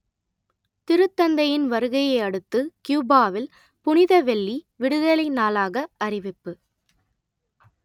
திருத்தந்தையின் வருகையை அடுத்து கியூபாவில் புனித வெள்ளி விடுதலை நாளாக அறிவிப்பு